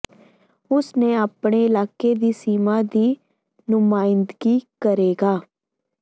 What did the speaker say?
ਉਸ ਨੇ ਆਪਣੇ ਇਲਾਕੇ ਦੀ ਸੀਮਾ ਦੀ ਨੁਮਾਇੰਦਗੀ ਕਰੇਗਾ